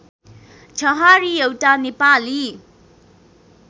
छहारी एउटा नेपाली